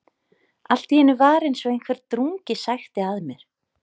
Allt í einu var eins og einhver drungi sækti að mér.